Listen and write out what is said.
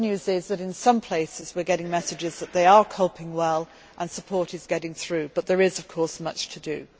The good news is that in some places, we are getting messages that they are coping well and support is getting through, but there is, of course, much to do.